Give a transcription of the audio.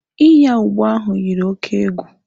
Ịnya ụgbọ ahụ yiri oke egwu.